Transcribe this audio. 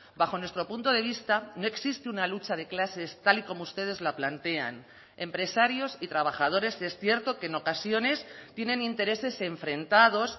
bajo nuestro punto de vista no existe una lucha de clases tal y como ustedes la plantean empresarios y trabajadores es cierto que en ocasiones tienen intereses enfrentados